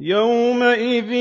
يَوْمَئِذٍ